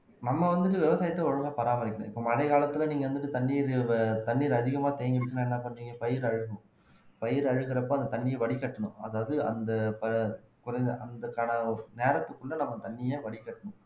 நம்ம வந்துட்டு விவசாயத்தை ஒழுங்கா பராமரிக்கணும் இப்ப மழைக்காலத்துல நீங்க வந்துட்டு தண்ணீரு தண்ணீர் அதிகமா தேங்கிடுச்சுன்னா என்ன பண்ணுவீங்க பயிர் அழுகும் பயிர் அழுகறப்ப அந்த தண்ணியை வடிகட்டணும் அதாவது அந்த குறைந்த அந்த நேரத்துக்குள்ள நம்ம தண்ணியை வடிகட்டணும்